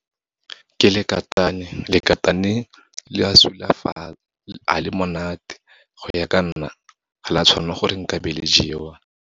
Ke lekatane, lekatane ga le monate. Go ya ka nna, ga la tshwanwa gore nka be le jewa.